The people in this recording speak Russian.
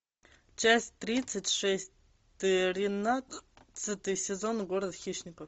часть тридцать шесть тринадцатый сезон город хищников